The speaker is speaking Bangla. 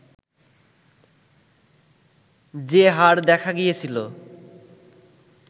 যে হার দেখা গিয়েছিল